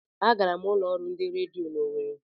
A gara m n'ulo ọrụ ndị redio n'Owere.